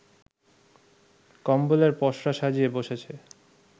কম্বলের পসরা সাজিয়ে বসেছে